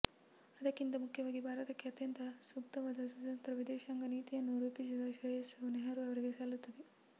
ಅದಕ್ಕಿಂತ ಮುಖ್ಯವಾಗಿ ಭಾರತಕ್ಕೆ ಅತ್ಯಂತ ಸೂಕ್ತವಾದ ಸ್ವತಂತ್ರ ವಿದೇಶಾಂಗ ನೀತಿಯನ್ನು ರೂಪಿಸಿದ ಶ್ರೇಯಸ್ಸು ನೆಹರೂ ಅವರಿಗೆ ಸಲ್ಲುತ್ತದೆ